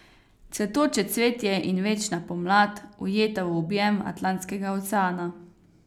Cvetoče cvetje in večna pomlad, ujeta v objem Atlantskega oceana.